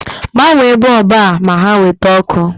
Gbanye boobu a ma ha nweta ọkụ